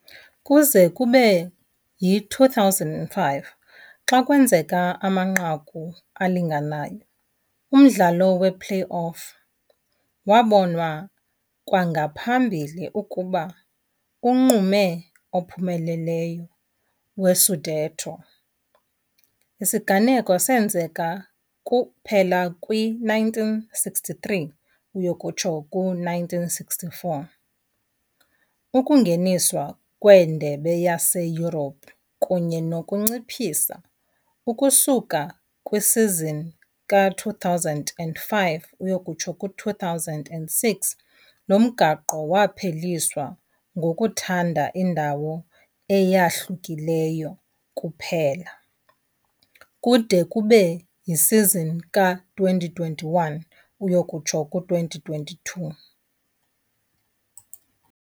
Kuze kube yi-2005, xa kwenzeka amanqaku alinganayo, umdlalo we-play-off wabonwa kwangaphambili ukuba unqume ophumeleleyo we-scudetto, isiganeko esenzeka kuphela kwi-1963-64 , ukungeniswa kwiindebe zaseYurophu kunye nokunciphisa, ukusuka kwisizini ka-2005-06 lo mgaqo wapheliswa, ngokuthanda indawo eyahlukileyo kuphela, kude kube yisizini ka-2021-22.